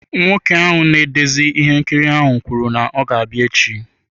Nwoke ahụ na-edezi ihe nkiri ahụ kwuru na ọ ga-abịa echi.